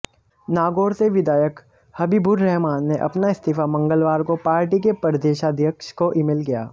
नागौर से विधायक हबीबुर्रहमान ने अपना इस्तीफा मंगलवार को पार्टी के प्रदेशाध्यक्ष को ईमेल किया